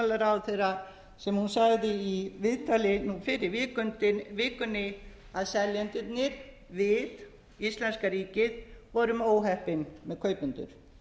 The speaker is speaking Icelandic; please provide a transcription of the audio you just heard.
viðskipta og bankamálaráðherra sem hún sagði í viðtali nú fyrr í vikunni að seljendurnir við íslenska ríkið vorum óheppin með kaupendur